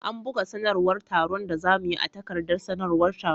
An buga sanarwar taron da za mu yi a takardar sanarwar taro.